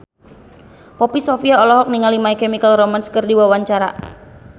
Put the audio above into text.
Poppy Sovia olohok ningali My Chemical Romance keur diwawancara